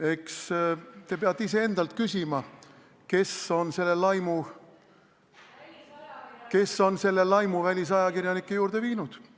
Eks te peate iseendalt küsima, kes on selle laimu välisajakirjandusse viinud.